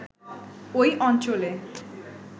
ওই অঞ্চলে